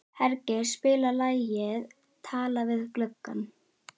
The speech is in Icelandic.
Hergeir, spilaðu lagið „Talað við gluggann“.